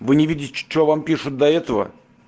вы не видеть что вам пишут до этого